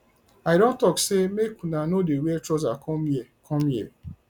i don talk say make una no dey wear trouser come here come here